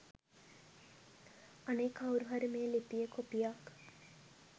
අනේ කව්රුහරි මේ ලිපියෙ කොපියක්